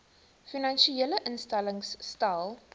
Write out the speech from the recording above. finansiële instellings stel